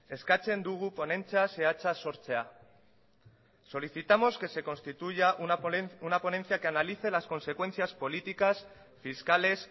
eskatzen dugu ponentzia zehatza sortzea solicitamos que se constituya una ponencia que analice las consecuencias políticas fiscales